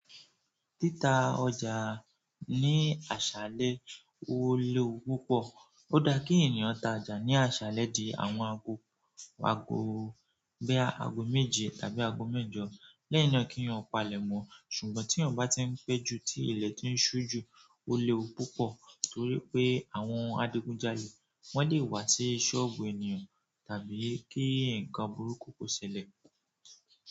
Títa ọjà ní àṣálẹ́ ó léwu púpọ̀. Ó dá kí ènìyàn ta jà ní àṣálẹ́ di àwọn ago, ago bóyá ago méje tàbí ago mẹ́jọ lẹ́yìn náà kí yan palẹ̀ mọ́. Ṣùgbọ́n tí èyàn bá tí ń pẹ́ ju, tí ilẹ̀ ti ń ṣú ju, ó léwu púpọ̀ torí pé àwọn adigunjalè wọ́n lè wá sí sọ́ọ̀bù ẹnì yẹn tàbí kí nǹkan burúkú kò ṣẹlẹ̀.